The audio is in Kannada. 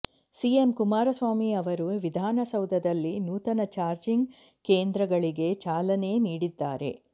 ಸಿಎಂ ಕುಮಾರಸ್ವಾಮಿ ಅವರು ವಿಧಾನಸೌಧದಲ್ಲಿ ನೂತನ ಚಾರ್ಜಿಂಗ್ ಕೇಂದ್ರಗಳಿಗೆ ಚಾಲನೆ ನೀಡಿದ್ದಾರೆ